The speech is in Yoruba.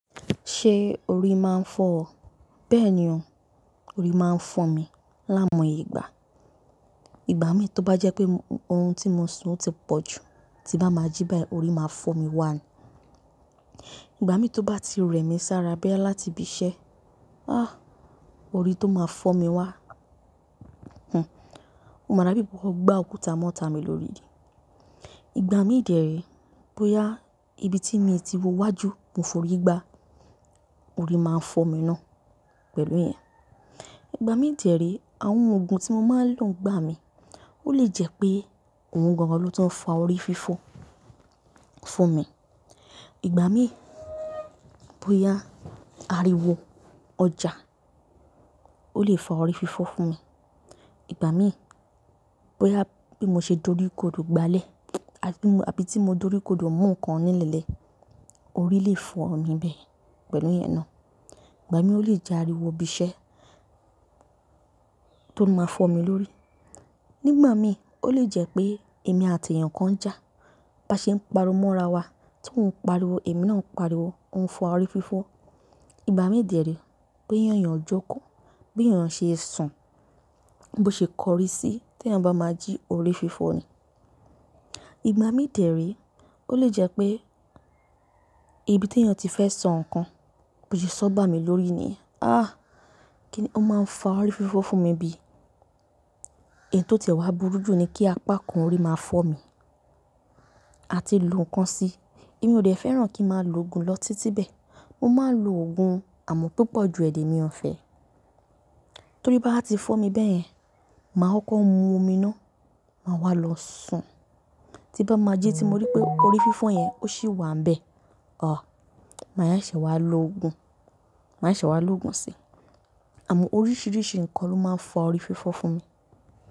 Ṣé orí máa ń fọ́ ọ? Bẹ́ẹ̀ ni o, orí máa ń fọ́n mi láimoyegba ìgbà. Ìgbà mi tó bá jẹ́ pé oorun tí mo sun o ti pọ̀ jù, tí bá máa jí báyìí, orí máa fọ́ mi wá ni. Ìgbà mi tó bá ti rẹ mi sára boya láti ibi iṣẹ́, ah orí tó máa fọ́ mi wá. Hn, o máa dà bí mo bá gbá òkúta mọ́ta mi lórí idì. Ìgbà mí de re, bóyá ibi tí mi ti wọ wájú mo forí gbá, orí máa ń fọ́ mi náà pẹ̀lú ìyẹn. Ìgbà mi dè re, àwọn oògùn tí mo máa ń lò ń gbà mí, ó lè jẹ́ pé òun gan-an ló ti ń fa orí fífọ́ fún mi. Ìgbà mí, bóyá ariwo ọjà ó lè fa orí fífọ́ fún mi. Ìgbà mí, bóyá bí mo ṣe doríkodò gbálẹ̀, àbí tí mo doríkodò mú nǹkan nílẹ̀ lẹ́ẹ̀, orí lè fọ́ mi bẹ́ẹ̀ pẹ̀lú ìyẹn náà. Ìgbà mí ó lè jẹ́ ariwo ibi iṣẹ́ tó máa ń fọ́ mi lórí. Nígbà mi ó lè jẹ́ pé èmi àti èèyàn kan ń jà, bá ṣe ń pariwo mọ́ra wa, tí òun ń pariwo èmi náà ń pariwo, òun ń fa orí fífọ́. Ìgbà mí dè re boya eyán jókòó, bí èèyàn ṣe ń sùn, bó ṣe kọrí sí tí èèyàn bá máa jí orí fífọ́ ni. Ìgbà mi dè re, ó lè jẹ́ pé ibi tí èèyàn ti fẹ́ sọ nǹkan bò ṣe sọ́ bá mi lórí ni, ah kí ni ó máa ń fa orí fífọ́ fún mi bí? Ẹ̀yì tó tẹ̀wá burú jù ni kí apá kan orí máa fọ́ mi. A ti lo nǹkan si, èmi ò dẹ̀ fẹ́ràn kí n máa lo ògùn lọ títí bẹ́ẹ̀. Mo máa ń lo ògùn àmọ́ púpọ̀ ju ẹ̀ lẹ̀ mi ọ̀fẹ́. Tórí bá wa ti fọ́ mi bẹ́ẹ̀ yẹn, màá kọ́ko mu omi náà, màá wá lọ sùn. Tí bá máa ji tí mo rí pé orí fífọ́ yẹn ó sì wàn bẹ́ẹ̀, ah màá yá ìṣe wá lo ògùn, màá seṣe wá lo ògùn si. Àmọ́ oríṣiríṣi nǹkan ló máa ń fa orí fífọ́ fún mi.